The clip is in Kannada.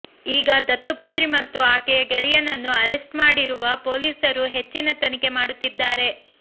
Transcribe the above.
ಈಗ ದತ್ತುಪುತ್ರಿ ಮತ್ತು ಆಕೆಯ ಗೆಳೆಯನನ್ನು ಅರೆಸ್ಟ್ ಮಾಡಿರುವ ಪೊಲೀಸರು ಹೆಚ್ಚಿನ ತನಿಖೆ ಮಾಡುತ್ತಿದ್ದಾರೆ